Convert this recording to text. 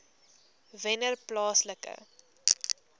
wennerplaaslike